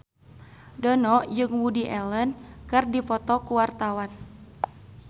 Dono jeung Woody Allen keur dipoto ku wartawan